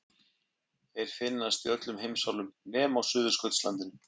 Þeir finnast í öllum heimsálfum nema á Suðurskautslandinu.